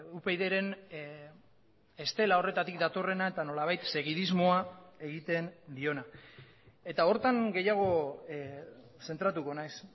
upydren estela horretatik datorrena eta nolabait segidismoa egiten diona eta horretan gehiago zentratuko naiz